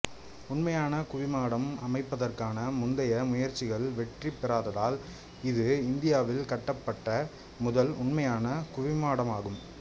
உண்மையான குவிமாடம் அமைப்பதற்கான முந்தைய முயற்சிகள் வெற்றிபெறாததால் இது இந்தியாவில் கட்டப்பட்ட முதல் உண்மையான குவிமாடமாகும்